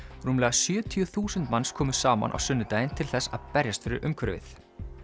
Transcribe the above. rúmlega sjötíu þúsund manns komu saman á sunnudaginn til þess að berjast fyrir umhverfið